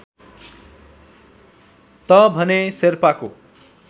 त भने शेर्पाको